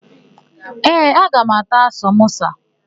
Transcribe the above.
Ee, aga m ata samosa.